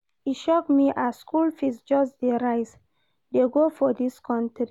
E shock me as skool fees just dey rise dey go for dis country.